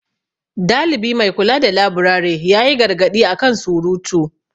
Dalibi mai kula da laburare ya yi gargaɗi a kan surutu.